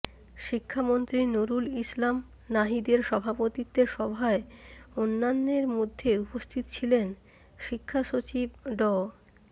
শিক্ষামন্ত্রী নুরুল ইসলাম নাহিদের সভাপতিত্বে সভায় অন্যান্যের মধ্যে উপস্থিত ছিলেন শিক্ষা সচিব ড